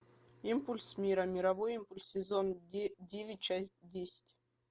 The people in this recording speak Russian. импульс мира мировой импульс сезон девять часть десять